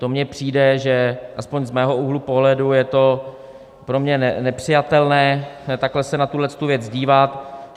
To mně přijde, že aspoň z mého úhlu pohledu je to pro mě nepřijatelné takhle se na tu věc dívat.